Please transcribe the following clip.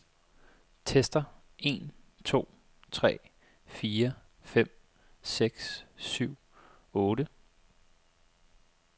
Tester en to tre fire fem seks syv otte.